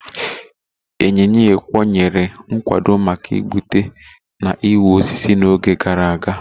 Ịnyịnya ịkwọ nyere nkwado maka igbutu na ịwa osisi na oge gara aga